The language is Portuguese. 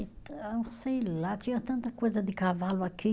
Então, sei lá, tinha tanta coisa de cavalo aqui.